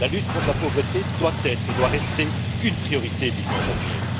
La lutte contre la pauvreté doit être et doit rester une priorité de l'Union européenne.